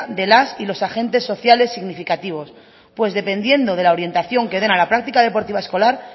de las y los agentes sociales significativos pues dependiendo de la orientación que den a la práctica deportiva escolar